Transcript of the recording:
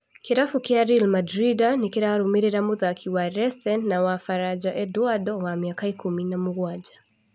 (Daily Nation) Kĩrabu kĩa Ri Mandrinda nĩ kĩramũrũmĩrĩra mũthaki wa Resen na wa Baranja Endwando wa mĩaka ikũmi na mũgwanja.